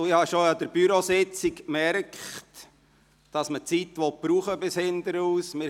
Ich habe bereits anlässlich der Bürositzung bemerkt, dass man die Zeit zu Ende brauchen will.